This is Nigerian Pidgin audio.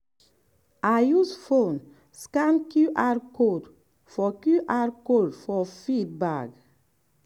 i use phone scan qr code for qr code for feed bag.